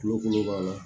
Kuloko b'a la